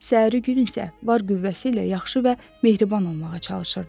Səhəri gün isə var qüvvəsi ilə yaxşı və mehriban olmağa çalışırdı.